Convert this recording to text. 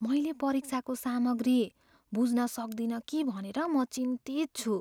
मैले परीक्षाको सामग्री बुझ्न सक्दिन कि भनेर म चिन्तित छु।